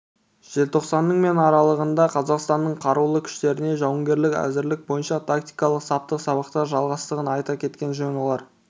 желтоқсанның мен аралығында қазақстанның қарулы күштерінде жауынгерлік әзірлік бойынша тактикалық-саптық сабақтар жалғасатынын айта кеткен жөн олар